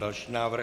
Další návrh.